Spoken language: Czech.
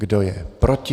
Kdo je proti?